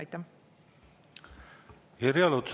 Irja Lutsar, palun!